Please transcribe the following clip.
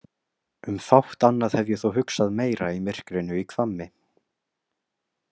Um fátt annað hef ég þó hugsað meira í myrkrinu í Hvammi.